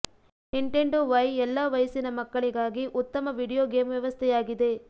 Nintendo Wii ಎಲ್ಲಾ ವಯಸ್ಸಿನ ಮಕ್ಕಳಿಗಾಗಿ ಉತ್ತಮ ವೀಡಿಯೊ ಗೇಮ್ ವ್ಯವಸ್ಥೆಯಾಗಿದೆ